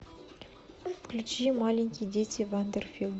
включи маленькие дети вандер фил